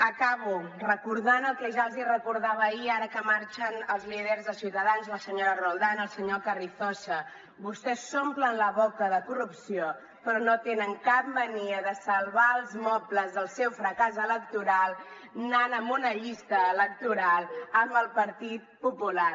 acabo recordant el que ja els recordava ahir ara que marxen els líders de ciutadans la senyora roldán el senyor carrizosa vostès s’omplen la boca de corrupció però no tenen cap mania de salvar els mobles del seu fracàs electoral anant en una llista electoral amb el partit popular